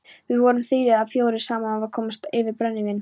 Við vorum þrír eða fjórir saman sem komumst yfir brennivín.